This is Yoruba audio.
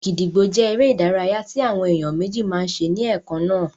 Gídígbò jẹ́ eré ìdárayá tí àwọn èèyàn méjì máa n ṣe ní ẹ̀kannáà